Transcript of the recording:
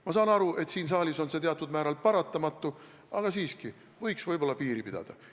Ma saan aru, et siin saalis on see teatud määral paratamatu, aga siiski võiks piiri pidada.